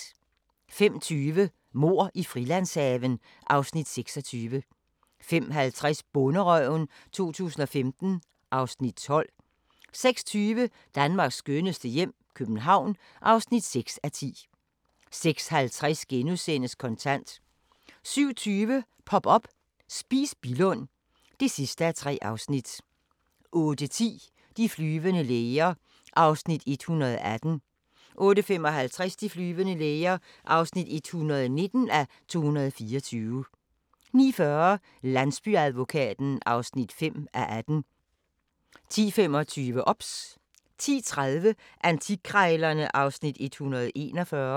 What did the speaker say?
05:20: Mord i Frilandshaven (Afs. 26) 05:50: Bonderøven 2015 (Afs. 12) 06:20: Danmarks skønneste hjem - København (6:10) 06:50: Kontant * 07:20: Pop up – Spis Billund (3:3) 08:10: De flyvende læger (118:224) 08:55: De flyvende læger (119:224) 09:40: Landsbyadvokaten (5:18) 10:25: OBS 10:30: Antikkrejlerne (Afs. 141)